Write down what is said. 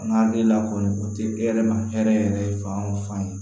An ka hakilila kɔni o tɛ e yɛrɛ ma hɛrɛ ye fan o fan ye